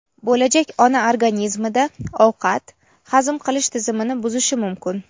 bo‘lajak ona organizmida ovqat hazm qilish tizimini buzishi mumkin.